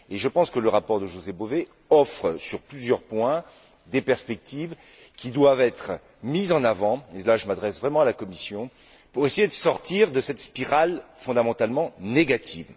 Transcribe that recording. Je pense que le rapport de José Bové offre, sur plusieurs points, des perspectives qui doivent être mises en avant et là je m'adresse vraiment à la Commission pour essayer de sortir de cette spirale fondamentalement négative.